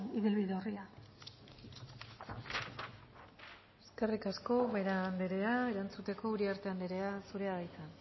ibilbide orria eskerrik asko ubera andrea erantzuteko uriarte andrea zurea da hitza